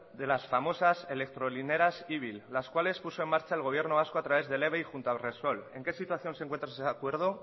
de las famosas electrolineras ibil las cuales puso en marcha el gobierno vasco a través del eve junto a repsol en qué situación se encuentra ese acuerdo